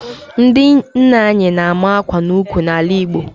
Ndị nne nwaanyị na-ama akwa n'ukwu n'ala Igbo